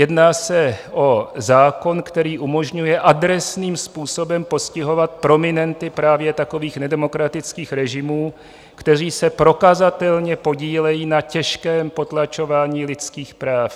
Jedná se o zákon, který umožňuje adresným způsobem postihovat prominenty právě takových nedemokratických režimů, kteří se prokazatelně podílejí na těžkém potlačování lidských práv.